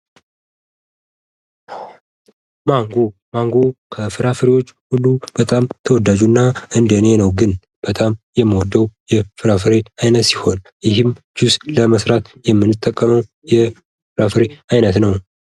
ማንጎ ፦ ማንጎ ከፍራፍሬዎች ሁሉ በጣም ተወዳጁ እና እንደኔ ነው ግን በጣም የምወደው የፍራፍሬ አይነት ሲሆን ይህም ጁስ ለመስራት የምንጠቀመው የፍራፍሬ አይነት ነው ።